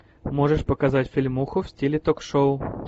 можешь показать фильмуху в стиле ток шоу